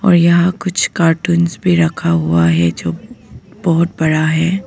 और यह कुछ कार्टूंस भी रखा हुआ है जो बहुत बड़ा है।